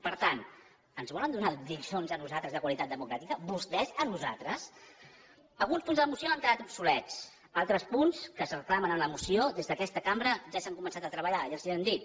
per tant ens volen donar lliçons a nosaltres de qualitat democràtica vostès a nosaltres alguns punts de la moció han quedat obsolets altres punts que es reclamen en la moció des d’aquesta cambra ja s’han començat a treballar ja els ho han dit